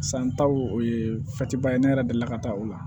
San taw o ye ba ye ne yɛrɛ deli la ka taa o la